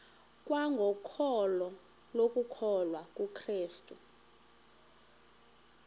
kwangokholo lokukholwa kukrestu